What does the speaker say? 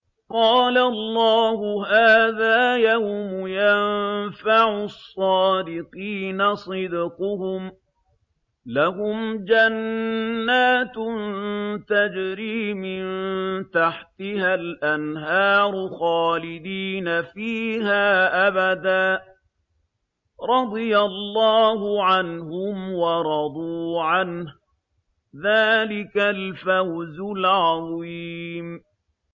قَالَ اللَّهُ هَٰذَا يَوْمُ يَنفَعُ الصَّادِقِينَ صِدْقُهُمْ ۚ لَهُمْ جَنَّاتٌ تَجْرِي مِن تَحْتِهَا الْأَنْهَارُ خَالِدِينَ فِيهَا أَبَدًا ۚ رَّضِيَ اللَّهُ عَنْهُمْ وَرَضُوا عَنْهُ ۚ ذَٰلِكَ الْفَوْزُ الْعَظِيمُ